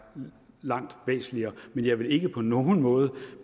langt væsentligere men jeg vil ikke på nogen måde